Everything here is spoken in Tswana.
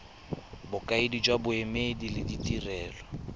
bokaedi jwa boemedi le ditirelo